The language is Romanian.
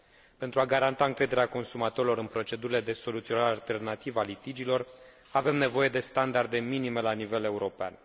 Pentru a garanta încrederea consumatorilor în procedurile de soluționare alternativă a litigiilor, avem nevoie de standarde minime la nivel european.